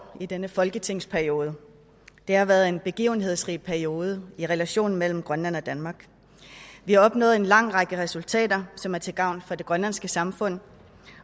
i denne folketingsperiode det har været en begivenhedsrig periode i relationen mellem grønland og danmark vi har opnået en lang række resultater som er til gavn for det grønlandske samfund